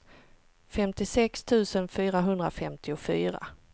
femtiosex tusen fyrahundrafemtiofyra